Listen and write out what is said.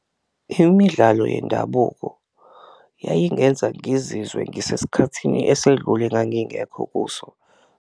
Imidlalo yendabuko yayingenza ngizizwe ngisesikhathini esedlule engangingekho kuso.